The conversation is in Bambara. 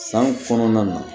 San kɔnɔna na